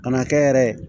Ka na kɛ yɛrɛ